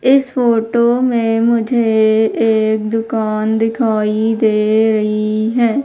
इस फोटो में मुझे एक दुकान दिखाई दे रही हैं।